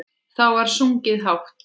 Þá var sungið hátt.